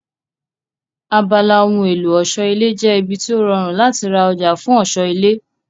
Abala ohun èlò ọ̀ṣọ́ ilé jẹ́ ibi tó rọrùn láti ra ọjà fún ọ̀ṣọ́ ilé